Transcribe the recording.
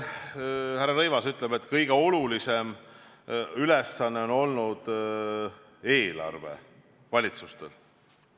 Härra Rõivas ütleb, et kõige olulisem ülesanne on olnud eelarve valitsustel.